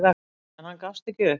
En hann gefst ekki upp.